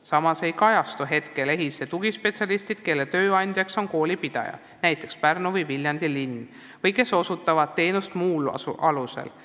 Samas ei kajastu EHIS-es tugispetsialistid, kelle tööandjaks on koolipidaja, näiteks Pärnu või Viljandi linn, või kes osutavad teenust muul alusel.